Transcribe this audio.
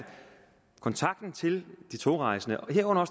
kontakten til de togrejsende herunder